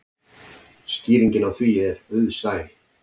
Skýringin á því er auðsæ.